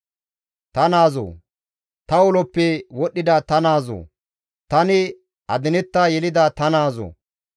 «Ta naazoo! Ta uloppe wodhdhida ta naazoo! Tani adinetta yelida ta naazoo!